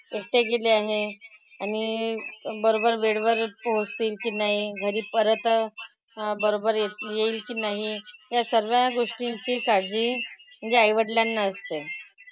एकटे गेले आहेत. आणि बरोबर वेळेवर पोहोचतील की नाही. घरी परत बरोबर येती येईल की नाही. या सगळ्या गोष्टींची काळजी म्हणजे आईवडिलांना असते.